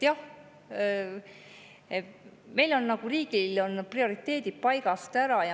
Jah, meil on riigil prioriteedid paigast ära.